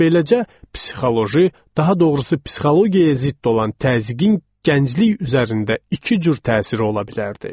Beləcə psixoloji, daha doğrusu psixologiyaya zidd olan təzyiqin gənclik üzərində iki cür təsiri ola bilərdi.